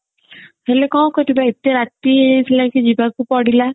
ହେଲେ କଣ କରିବା ଏତେ ରାତି ହେଇ ଯାଇଥିଲା କି ଯିବାକୁ ପଡିଲା